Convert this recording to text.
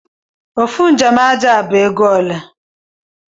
Ofụ njem aja bu ego ole?